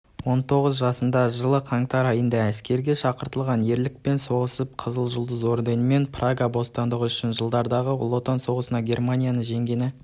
онтоғыз жасында жылы қаңтар айында әскерге шақыртылған ерлікпен соғысып қызыл жұлдыз орденімен прага босатқандығы үшін жылдардағы ұлы отан соғысында германияны жеңгені